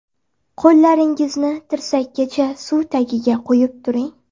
Qo‘llaringizni tirsakkacha suv tagiga qo‘yib turing.